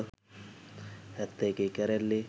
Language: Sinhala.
හැත්තෑ එකේ කැරැල්ලේ